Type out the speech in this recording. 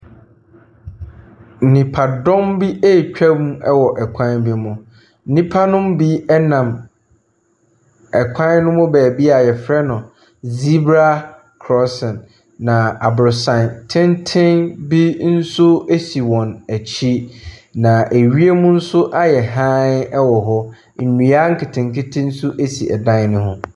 Nnipadɔm bi retwa mu wɔ kwan bi mu. Nnipa nom bi ɛnam ɛkwan no mu baabi a yɛfrɛ no zebra crossing . Na aboronsan tenten bi nso esi wɔn akyi. Na ewie mu nso ayɛ haen wɔ hɔ. Nnua nketenkete nso esi dan ne ho.